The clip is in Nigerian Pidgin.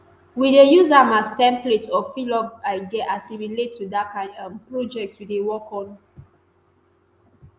we dey use am as template or fil up idea as e relate to di kain um project we dey work on."